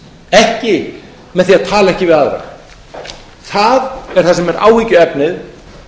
ekki með því að tala ekki við aðra það er það sem er áhyggjuefnið